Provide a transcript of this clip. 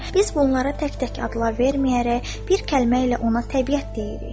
Biz bunlara tək-tək adlar verməyərək, bir kəlmə ilə ona təbiət deyirik.